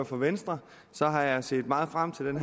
for venstre har jeg set meget frem til